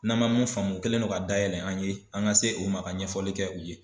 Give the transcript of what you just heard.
N'an man mun faamu u kɛlen no ka dayɛlɛ an ye an ka se u ma ka ɲɛfɔli kɛ u ye.